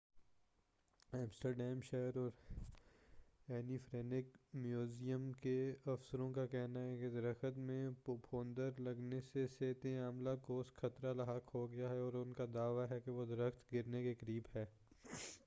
Amsterdam شہر اور Anne Frank museum کے افسروں کا کہنا ہے کہ درخت میں پھپھوند لگنے سے صحتِ عامہ کوس خطرہ لاحق ہو گیا ہے اور ان کا دعوی ہے کہ وہ درخت گرنے کے قریب ہے